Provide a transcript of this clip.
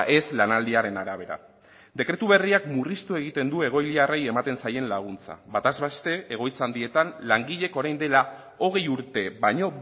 ez lanaldiaren arabera dekretu berriak murriztu egiten du egoiliarrei ematen zaien laguntza bataz beste egoitza handietan langileek orain dela hogei urte baino